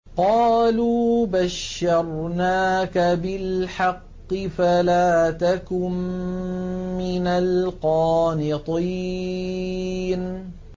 قَالُوا بَشَّرْنَاكَ بِالْحَقِّ فَلَا تَكُن مِّنَ الْقَانِطِينَ